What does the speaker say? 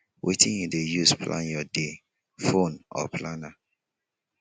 wetin you dey use to plan your day phone or planner